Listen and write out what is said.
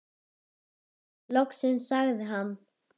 Loksins sagði hann.